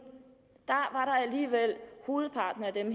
var alligevel hovedparten af dem